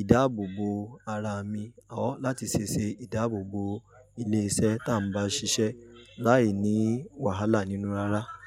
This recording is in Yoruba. ìdáàbòbò ara mi, or láti se ṣe ìdáàbòbò ilé iṣẹ́ tá ń bá ṣiṣẹ́ láìní wàhálà nínú rárá.